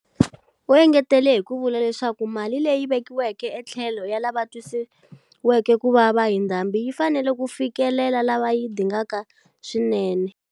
U engetele hi ku vula leswaku mali leyi vekiweke etlhelo ya lava twisiweke ku vava hi ndhambi yi fanele ku fikelela lava yi dingaka swinene.